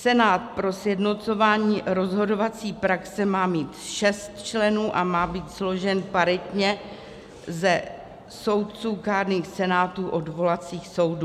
Senát pro sjednocování rozhodovací praxe má mít šest členů a má být složen paritně ze soudců kárných senátů odvolacích soudů.